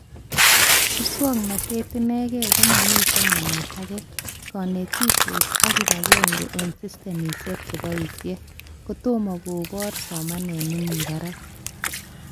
Muswoknotet enekee komamite namet akee, konetishet ak kibagenge eng systemishek cheboishe ,kotomo koboru somanet nemi barak